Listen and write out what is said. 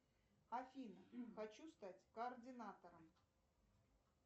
афина хочу стать координатором